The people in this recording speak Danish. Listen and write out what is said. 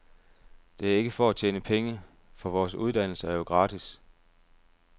Det er ikke for at tjene penge, for vores uddannelser er jo gratis.